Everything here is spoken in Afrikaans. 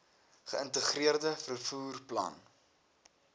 geïntegreerde vervoer plan